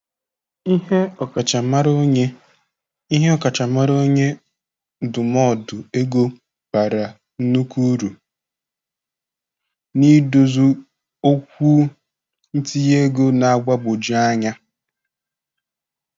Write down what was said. Ihe ọkachamara onye Ihe ọkachamara onye ndụmọdụ ego bara nnukwu uru n'ịdozi okwu ntinye ego na-agbagwoju anya.